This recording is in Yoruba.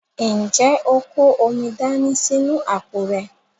Ǹjẹ́ o kó omi dání sínú àpò rẹ?